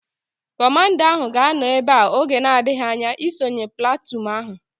Kọmanda ahu ga-anọ ebea oge na-adịghị anya isonye platụụn ahu